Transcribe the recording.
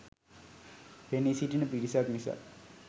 පෙනී සිටින පිරිසක් නිසා